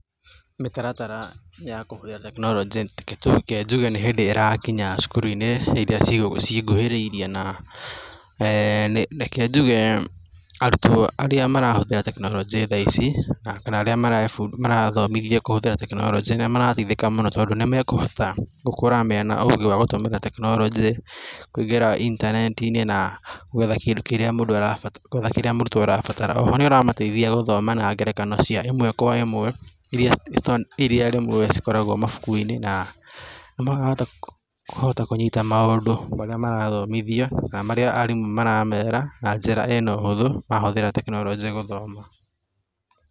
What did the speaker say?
Mĩtaratara ya kũhũthĩra tekinoronjĩ reke tu reke njuge nĩ hĩndĩ ĩrakinya cukuru-inĩ iria cii cinguhĩrĩirie na eee na reke njuge arutwo arĩa marahũthira tekinoronjĩ thaici, kana arĩa marebu marathomithio kũhũthĩra tekinoronjĩ nĩmarateithĩka mũno tondũ nimekũhota gũkũra mena ũgĩ wa kũhũthĩra tekinoronjĩ, ngũingĩra intaneti-inĩ na gwetha kĩndũ kĩrĩa mũndũ arabata gwetha kindũ kĩrĩa mũrutwo arabatara oho nĩũramateithia gũthoma na ngerekano cia ĩmwe kwa ĩmwe, iria ciĩ iria rĩmwe cikoragwo mabukuinĩ na nĩmarahota kũ kũnyita maũndũ marĩa marathomithio kana marĩa arimũ maramera na njĩra ĩna ũhũthũ mahũthĩra tekinoronjĩ gũthoma.